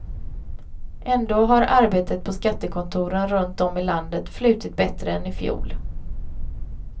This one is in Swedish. Ändå har arbetet på skattekontoren runt om i landet flutit bättre än i fjol.